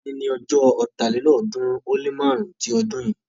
òní ní ojó Ọ̀tálélọ́ọ̀ọ́dúnrún ó lé márùn-ún tí odun yin.